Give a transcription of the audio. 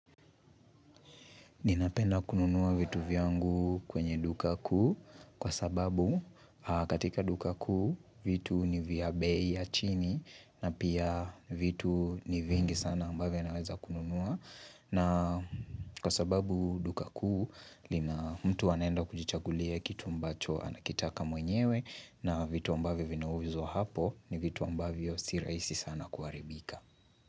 Ninapenda kunua vitu vyangu kwenye duka kuu, kwa sababu katika duka kuu vitu ni vya bei ya chini na pia vitu ni vingi sana ambavyo naweza kuvinunua na Kwa sababu duka kuu, mtu anaenda kujichagulia kitu ambacho anakitaka mwenyewe, na vitu ambavyo vinauzwa hapo ni vitu ambavyo si rahisi sana kuharibika.